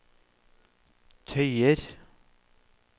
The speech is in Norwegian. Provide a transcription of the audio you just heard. tøyer